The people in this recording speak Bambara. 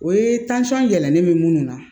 O ye be minnu na